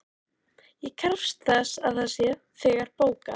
Ég krefst þess að það sé þegar bókað.